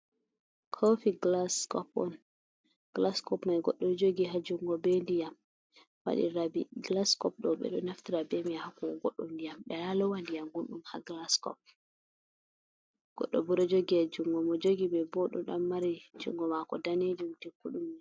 Kofi gilas kop on. Kofi mai Godɗo jogi ha jungo be ndiyam waɗi rabbi. gilas kop ɗo ɓe ɗo Naftira b mai ha hokkugo Godɗo ndiyam. Ɓe wola lowo ndiyam gunɗum ha gilas kop. Godɗo bo ɗo jogi ha jungo mom mo jogi mai bo oɗo ɗan mari jungo Mako danejum tekkuɗumni.